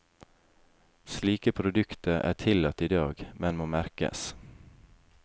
Slike produkter er tillatt i dag, men må merkes.